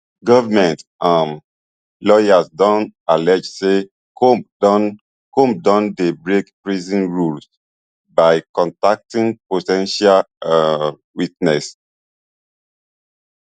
goment um lawyers don allege say comb don comb don dey break prison rules by contacting po ten tial um witnesses